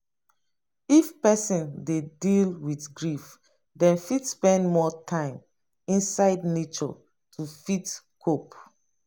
if person dey deal with grief dem fit spend more time inside nature to fit cope